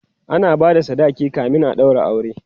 ana bada sadaki kamin a ɗaura aure